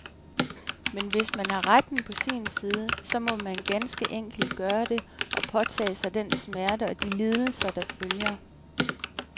Men hvis man har retten på sin side, så må man ganske enkelt gøre det, og påtage sig den smerte og de lidelser, der følger.